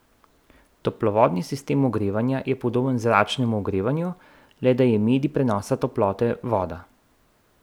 Toplovodni sistem ogrevanja je podoben zračnemu ogrevanju, le da je medij prenosa toplote voda.